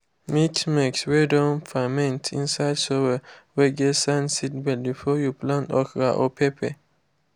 mix maize whey don ferment inside soil whey get sand seedbeds before you plant okra or pepper.